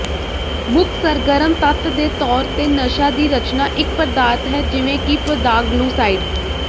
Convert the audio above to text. ਮੁੱਖ ਸਰਗਰਮ ਤੱਤ ਦੇ ਤੌਰ ਤੇ ਨਸ਼ਾ ਦੀ ਰਚਨਾ ਇੱਕ ਪਦਾਰਥ ਹੈ ਜਿਵੇਂ ਕਿ ਪੌਦਾਗਲੂਸਾਈਡ